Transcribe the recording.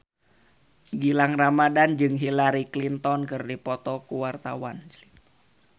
Gilang Ramadan jeung Hillary Clinton keur dipoto ku wartawan